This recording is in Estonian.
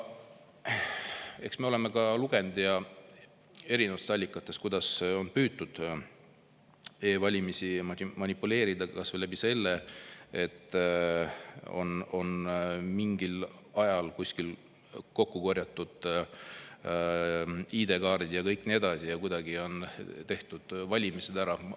Eks me oleme erinevatest allikatest lugenud, kuidas on püütud e-valimistega manipuleerida kas või nii, et on mingil ajal kuskil kokku korjatud ID-kaardid ja kuidagi on nende abil valimised ära tehtud.